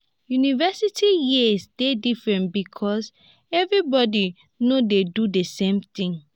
university years de different because everybody no de do the same thing